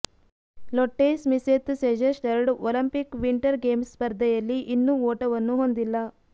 ಲೊಟ್ಟೆ Smiseth Sejersted Olympic winter games ಸ್ಪರ್ಧೆಯಲ್ಲಿ ಇನ್ನೂ ಓಟವನ್ನು ಹೊಂದಿಲ್ಲ